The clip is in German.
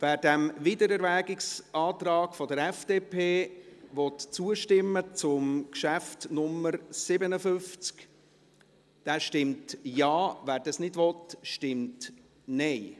Wer diesem Wiedererwägungsantrag der FDP zu Traktandum 57 zustimmen will, stimmt Ja, wer das nicht will, stimmt Nein.